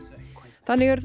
þannig eru þau